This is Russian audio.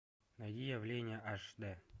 найди явление аш д